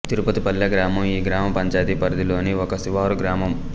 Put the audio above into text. తిరుపతి పల్లె గ్రామం ఈ గ్రామ పంచాయతీ పరిధిలోని ఒక శివారు గ్రామం